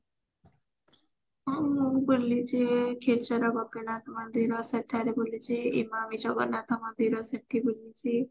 ମୁଁ ବୁଲିଛି କ୍ଷୀରଚୋରା ଗୋପୀନାଥ ମନ୍ଦିର ସେଠାରେ ବୁଲିଛି ଇମାମି ଜଗନ୍ନାଥ ମନ୍ଦିରସେଠି ବୁଲିଛି